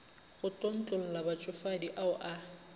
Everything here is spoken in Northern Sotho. go tlontlolla batšofadi ao a